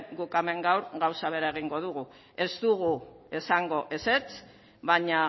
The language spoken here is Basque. guk hemen gaur gauza bera egingo dugu ez dugu esango ezetz baina